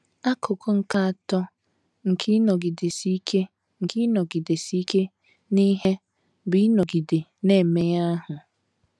Akụkụ nke atọ nke ịnọgidesi ike nke ịnọgidesi ike n’ihe bụ ịnọgide na - eme ihe ahụ.